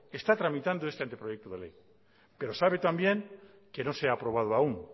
está tramitando este anteproyecto de ley pero sabe también que no se ha aprobado aun